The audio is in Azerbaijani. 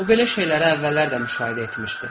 O belə şeyləri əvvəllər də müşahidə etmişdi.